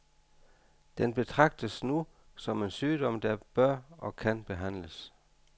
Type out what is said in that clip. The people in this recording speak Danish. Den betragtes nu som en sygdom, der bør og kan behandles.